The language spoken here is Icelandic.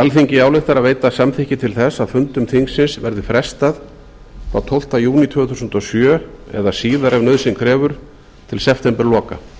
alþingi ályktar að veita samþykki til þess að fundum þingsins verði frestað frá tólfta júní tvö þúsund og sjö eða síðar ef nauðsyn krefur til septemberloka